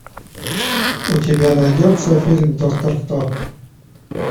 у тебя найдется фильм доктор кто